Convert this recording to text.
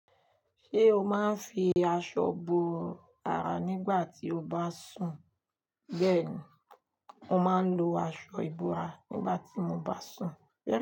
Ṣé o máa ń fi aṣọ bo ara nígbà tí o bá sùn? Bẹ́ẹ̀ni, mo máa ń lo aṣọ ìbora nígbà tí mo bá sùn.